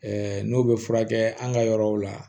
n'o bɛ furakɛ an ka yɔrɔw la